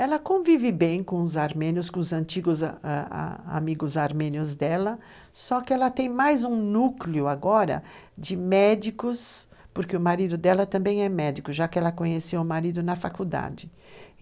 Ela convive bem com os antigos amigos armênios dela, só que ela tem mais um núcleo agora de médicos, porque o marido dela também é médico, já que ela conheceu o marido na faculdade.